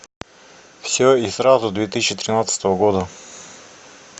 все и сразу две тысячи тринадцатого года